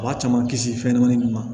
A b'a caman kisi fɛn min ma